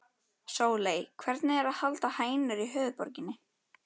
Sóley, hvernig er að halda hænur í höfuðborginni?